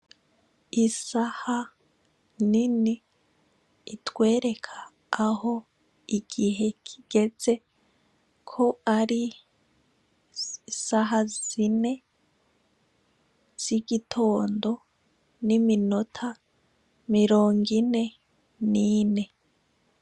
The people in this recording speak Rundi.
Isaha nini itwereka Aho Igihe kigeze, ko ari isaha zine z'igitondo n'iminota mirong' ine n'ine.